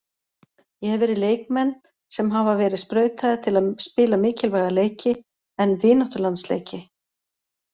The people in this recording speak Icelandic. Ég hef verið leikmenn sem hafa verið sprautaðir til að spila mikilvæga leiki, en vináttulandsleiki?